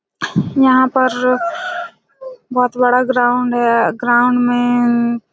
यहाँ पर बहुत बड़ा ग्राउंड है ग्राउंड में--